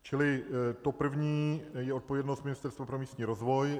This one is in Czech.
Čili to první je odpovědnost Ministerstva pro místní rozvoj.